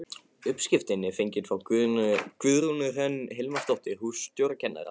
Uppskriftin er fengin frá Guðrúnu Hrönn Hilmarsdóttur hússtjórnarkennara.